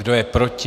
Kdo je proti?